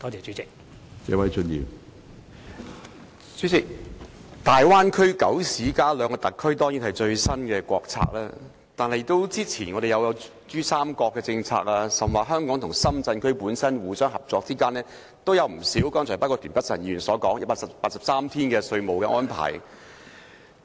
主席，大灣區九市加兩個特區的政策，當然是最新國策，但之前我們亦有珠江三角洲的政策，而香港與深圳互相之間已有不少合作，包括田北辰議員所說的183天稅務安排。